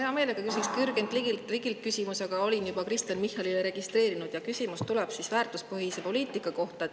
Mina hea meelega küsiks ka Jürgen Ligilt küsimuse, aga olin juba Kristen Michalile registreerinud ja küsimus tuleb väärtuspõhise poliitika kohta.